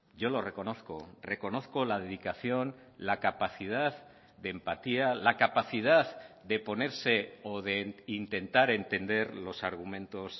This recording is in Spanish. yo lo reconozco reconozco la dedicación la capacidad de empatía la capacidad de ponerse o de intentar entender los argumentos